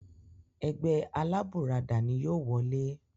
Ẹgbẹ́ alábùradà ni yìí ó wọlé